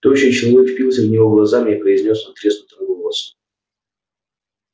тощий человек впился в него глазами и произнёс надтреснутым голосом